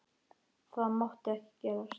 Það mátti ekki gerast.